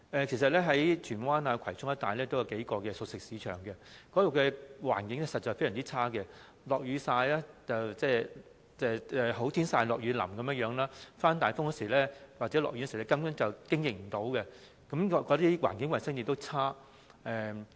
其實，荃灣及葵涌一帶有數個熟食市場，該處的環境實在非常惡劣，"好天曬，落雨淋"，刮大風或下雨時，根本無法經營，環境衞生情況亦非常惡劣。